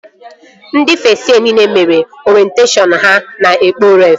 Ndị fest yee nile mere orenteshọn ha na Ekpo Ref